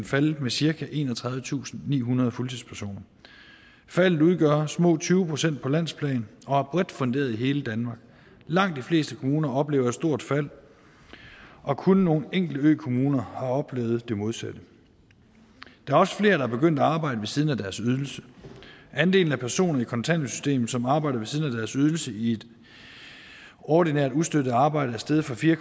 faldet med cirka enogtredivetusinde og nihundrede fuldtidspersoner faldet udgør små tyve procent på landsplan og er bredt funderet i hele danmark langt de fleste kommuner oplever et stort fald og kun nogle enkelte ø kommuner har oplevet det modsatte der er også flere der er begyndt at arbejde ved siden af deres ydelse andelen af personer i kontanthjælpssystemet som arbejder ved siden af deres ydelse i et ordinært ustøttet arbejde er steget fra fire